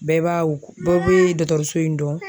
Bɛɛ b'a u bɛɛ be dɔkɔtɔrɔso in dɔn